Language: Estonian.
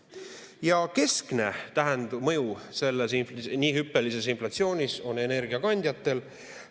Ja keskne mõju selles nii hüppelises inflatsioonis on energiakandjatel.